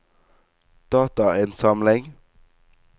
datainnsamling